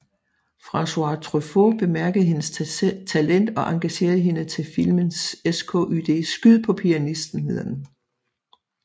François Truffaut bemærkede hendes talent og engagerede hende til filmen Skyd på pianisten